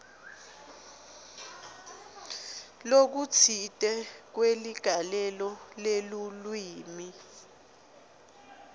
lokutsite kweligalelo lelulwimi